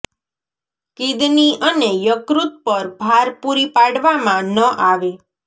kidney અને યકૃત પર ભાર પૂરી પાડવામાં ન આવે